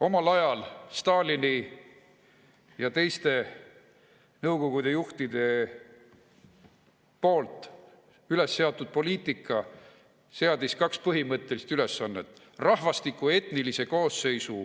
Omal ajal Stalini ja teiste Nõukogude juhtide üles seatud poliitika seadis kaks põhimõttelist ülesannet: rahvastiku etnilise koosseisu